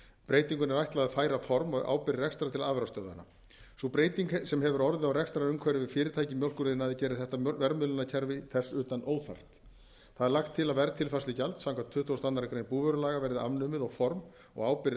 breytingunni er ætlað að færa form og ábyrgð rekstrar til afurðastöðvanna sú breyting sem hefur orðið á rekstrarumhverfi fyrirtækja í mjólkuriðnaði gerir þetta verðmiðlunarkerfi þess utan óþarft lagt er til að verðtilfærslugjald samkvæmt tuttugustu og aðra grein búvörulaga verði afnumið og formaður og ábyrgð